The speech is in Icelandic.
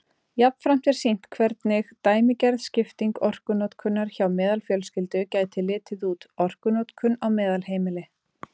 Jafnframt er sýnt hvernig dæmigerð skipting orkunotkunar hjá meðalfjölskyldu gæti litið út: Orkunotkun á meðalheimili.